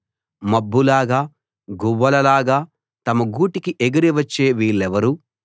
మబ్బులాగా గువ్వలలాగా తమ గూటికి ఎగిరి వచ్చే వీళ్ళెవరు